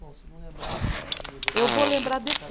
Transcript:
Bom, se não lembrar. Eu vou lembrar